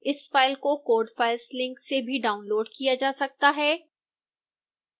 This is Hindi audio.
इस फाइल को code files लिंक से भी डाउनलोड़ किया जा सकता है